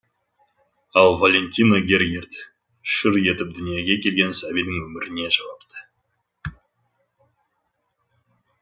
ал валентина гергерт шыр етіп дүниеге келген сәбидің өміріне жауапты